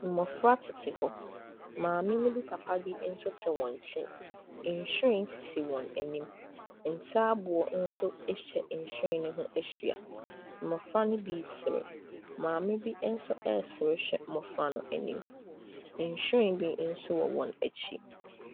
Mmɔfra tete hɔ, maame ne papa bi nso tete wɔn nkyɛn, nhyiren sisi wɔn anim, ntaaboo nso atwa nhyiren ne ho ahyia. Mmɔfra ne bi resere, maame bi nso resere hwɛ mmɔfra no anim. Nhyiren bi nso wɔ wɔn akyi.